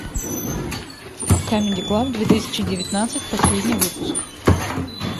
камеди клаб две тысячи девятнадцать последний выпуск